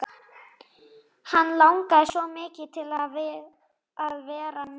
Hann langar svo mikið til að vera með.